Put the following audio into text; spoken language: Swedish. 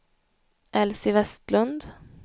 Elsie Westlund